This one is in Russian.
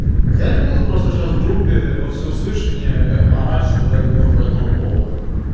я не буду просто сейчас в группе во все услышание орать что я думаю по этому поводу